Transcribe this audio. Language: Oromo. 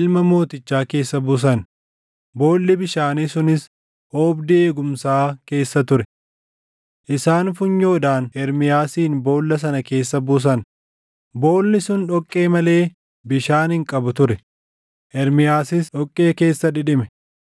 ilma mootichaa keessa buusan; boolli bishaanii sunis oobdii eegumsaa keessa ture. Isaan funyoodhaan Ermiyaasin boolla sana keessa buusan; boolli sun dhoqqee malee bishaan hin qabu ture; Ermiyaasis dhoqqee keessa dhidhime.